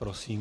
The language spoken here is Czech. Prosím.